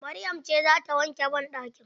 Maryam ce zata wanke banɗakin